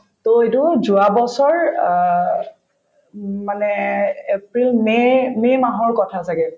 to এইটো যোৱা বছৰ অ উম মানে april may may মাহৰ কথা ছাগে